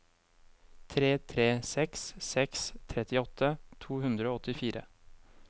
tre tre seks seks trettiåtte to hundre og åttifire